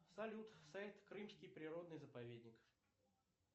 салют сайт крымский природный заповедник